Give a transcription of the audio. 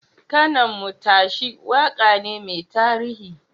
Kano Mun Tashi waka ne mai tarihi.